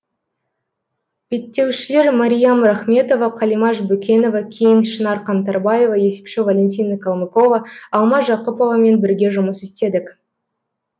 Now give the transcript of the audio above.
беттеушілер мариям рахметова қалимаш бөкенова кейін шынар қаңтарбаева есепші валентина калмыкова алма жақыповамен бірге жұмыс істедік